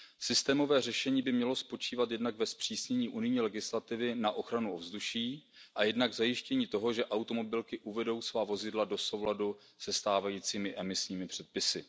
Systémové řešení by mělo spočívat jednak ve zpřísnění unijní legislativy na ochranu ovzduší a jednak v zajištění toho, že automobilky uvedou svá vozidla do souladu se stávajícími emisními předpisy.